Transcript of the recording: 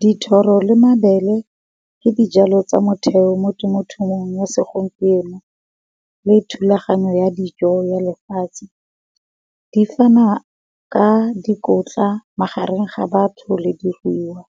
Dithoro le mabele ke di jalo tsa motheo mo temothuong ya segompieno, le thulaganyo ya dijo ya lefatshe, di fana ka dikotla magareng ga batho le di ruiwa,